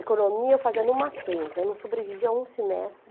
Economia eu fazia no Mackenzie, eu não sobrevivi a um semestre.